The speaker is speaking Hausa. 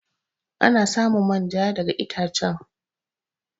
Ana samun manja daga ittacen.